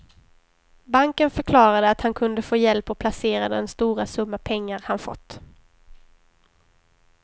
Banken förklarade att han kunde få hjälp att placera den stora summa pengar han fått.